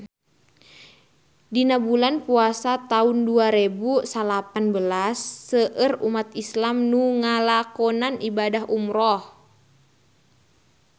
Dina bulan Puasa taun dua rebu salapan belas seueur umat islam nu ngalakonan ibadah umrah